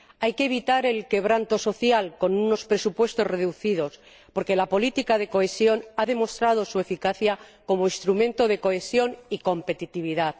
Hay que evitar el quebranto social con unos presupuestos reducidos, porque la política de cohesión ha demostrado su eficacia como instrumento de cohesión y competitividad.